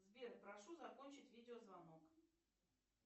сбер прошу закончить видеозвонок